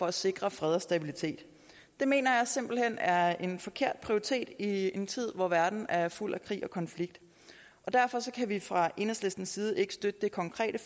at sikre fred og stabilitet det mener jeg simpelt hen er en forkert prioritering i en tid hvor verden er fuld af krig og konflikt derfor kan vi fra enhedslistens side ikke støtte det konkrete